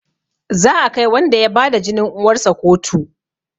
Za a kai wanda ya bada jinin uwarsa kotu